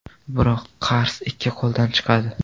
Biroq qars ikki qo‘ldan chiqadi.